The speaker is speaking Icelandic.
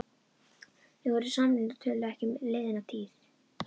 Þau voru samrýnd og töluðu ekki um liðna tíð.